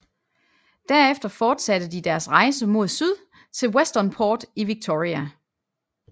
Derefter fortsatte de deres rejse mod syd til Westernport i Victoria